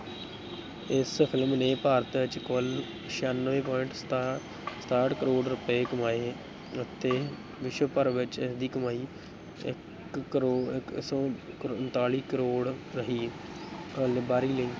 ਇਸ film ਨੇ ਭਾਰਤ ਵਿੱਚ ਕੁੱਲ ਛਿਆਨਵੇਂ point ਸਤਾ ਸਤਾਹਠ ਕਰੌੜ ਰੁਪਏ ਕਮਾਏ ਅਤੇ ਵਿਸ਼ਵਭਰ ਵਿੱਚ ਇਸਦੀ ਕਮਾਈ ਇੱਕ ਕਰੌੜ ਇੱਕ ਸੌ ਉਨਤਾਲੀ ਕਰੌੜ ਰਹੀ